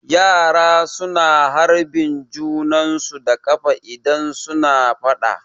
Yara su na harbin junan su da ƙafa idan su na faɗa